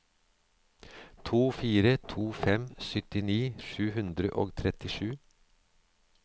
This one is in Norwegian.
to fire to fem syttini sju hundre og trettisju